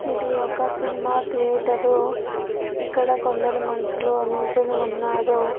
ఇది ఒక cinema theatre ఇక్కడ కొందరు మనుషులు నించొని ఉన్నారు.